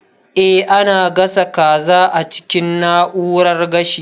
Eh ana gasa kaza a cikin na'urar gashi